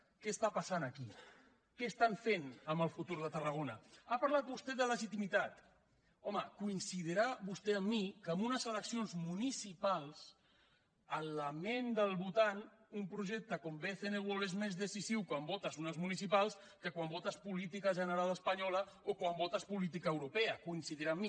què passa aquí que fan amb el futur de tarragona ha parlat vostè de legitimitat home coincidirà vostè amb mi que en unes eleccions municipals en la ment del votant un projecte com bcn world és més decisiu quan votes unes municipals que quan votes política general espanyola o quan votes política europea coincidirà amb mi